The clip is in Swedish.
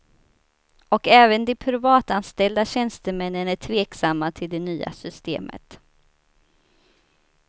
Och även de privatanställda tjänstemännen är tveksamma till det nya systemet.